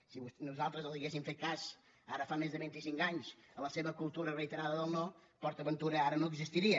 si nosaltres ha·guéssim fet cas ara fa més de vint·i·cinc anys a la seva cultura reiterada del no port aventura ara no existiria